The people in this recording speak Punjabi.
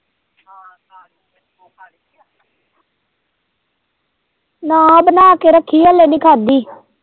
ਨਾ ਬਣਾ ਕੇ ਰੱਖੀ ਏ ਹਲੇ ਨੀ ਖਾਂਧੀ।